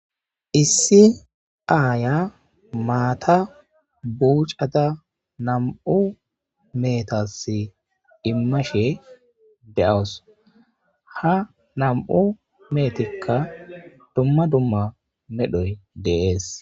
issi aaya maata buuc'ada nam7u meetas immashe de7awus ha nam7u meetikka dumma dumma medhoy de'es.